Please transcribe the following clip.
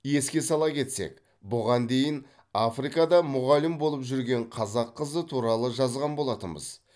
еске сала кетсек бұған дейін африкада мұғалім болып жүрген қазақ қызы туралы жазған болатынбыз